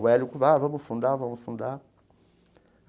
O Hélio ah, vamos fundar, vamos fundar.